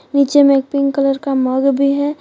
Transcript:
नीचे में एक पिंक कलर का मग भी है।